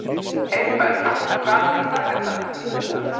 Heiðberg, hvað er í dagatalinu mínu í dag?